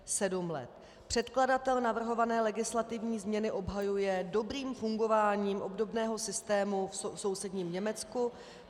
Předkladatel navrhované legislativní změny obhajuje dobrým fungováním obdobného systému v sousedním Německu.